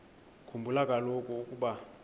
khumbula kaloku ukuba